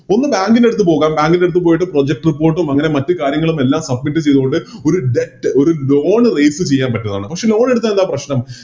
ഒന്ന് Bank ൻറെടൂത്ത് പോകാം Bank ൻറെടൂത്ത് പോയിട്ട് Project report ഉം അങ്ങനെ മറ്റു കാര്യങ്ങളുമെല്ലാം Submit ചെയ്തോണ്ട് ഒരു ഒരു Loan raise ചെയ്യാൻ പറ്റുന്നതാണ് പക്ഷെ Loan എടുത്താലെന്താ പ്രശ്നം